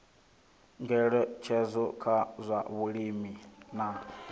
ngeletshedzo kha zwa vhulimi na